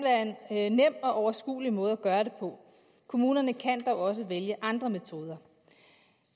være en nem og overskuelig måde at gøre det på kommunerne kan dog også vælge andre metoder